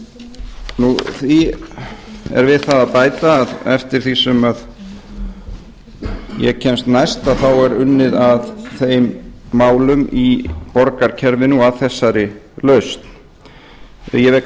því er við það að bæta að eftir því sem ég kemst næst er unnið að þeim málum í borgarkerfinu og að þessari lausn ég vek